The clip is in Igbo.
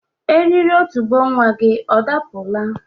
Eriri otubo nwa gi ọ dapụla?